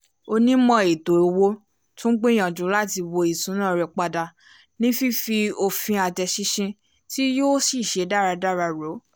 onímọ̀ eto owó tún gbìyànjú láti wo ìṣúná rẹ padà ní fífi òfin àtẹ̀sínṣin tí yóò ṣiṣẹ́ dáradára rò